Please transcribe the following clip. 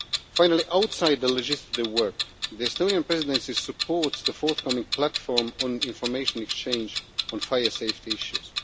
Finally, outside the legislative work, the Estonian Presidencies supports the forthcoming platform on information exchange on fire safety issues.